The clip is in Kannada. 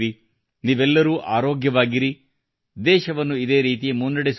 ನೀವೆಲ್ಲರೂ ಆರೋಗ್ಯವಾಗಿರಿ ದೇಶವನ್ನು ಇದೇ ರೀತಿ ಮುನ್ನಡೆಸುತ್ತಿರಿ